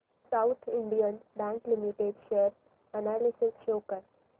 south Indian Bank Limited share analysis show कर